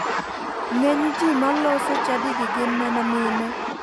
Ng'eny ji maloso chadigi gin mana mine.